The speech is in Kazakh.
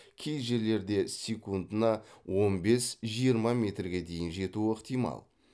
кей жерлерде секундына он бес жиырма метрге дейін жетуі ықтимал